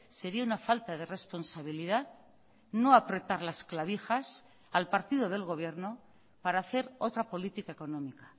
sería una falta de responsabilidad no apretar las clavijas al partido del gobierno para hacer otra política económica